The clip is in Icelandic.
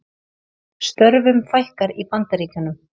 Störfum fækkar í Bandaríkjunum